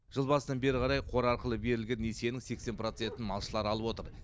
жыл басынан бері қарай қор арқылы берілген несиенің сексен процентін малшылар алып отыр